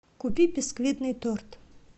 купи бисквитный торт